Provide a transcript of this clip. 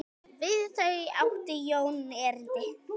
Við þau átti Jón erindi.